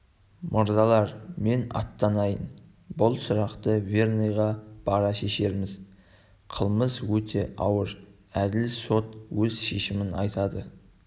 мырзалар мен аттанайын бұл сұрақты верныйға бара шешерміз қылмыс өте ауыр әділ сот өз шешімін айтады